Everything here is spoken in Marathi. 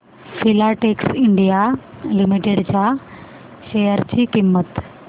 फिलाटेक्स इंडिया लिमिटेड च्या शेअर ची किंमत